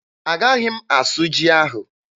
Agaghị m asụ ji ahụ.